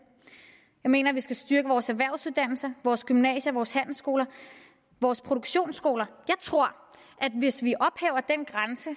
jeg mener vi skal styrke vores erhvervsuddannelser vores gymnasier vores handelsskoler vores produktionsskoler jeg tror at hvis vi ophæver den grænse